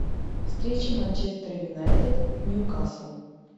встреча манчестер юнайтед ньюкасл